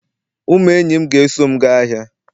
Ụmụ enyi m ga-eso m gaa ahịa